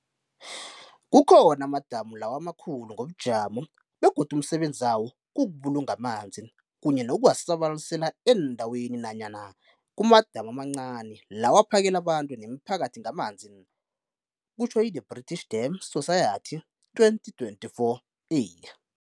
Kukhona amadamu lawo amakhulu ngobujamo begodu umsebenzi wawo kukubulunga amanzi kanye nokuwasabalalise eendaweni nanyana kumadamu amancani lawo aphakela abantu nemiphakathi ngamanzi, The British Dam Society 2024a.